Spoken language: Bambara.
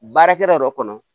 Baarakɛla yɛrɛ kɔnɔ